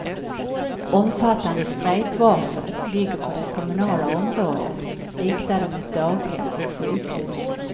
Omfattande strejkvarsel ligger på det kommunala området, riktade mot daghem och sjukhus.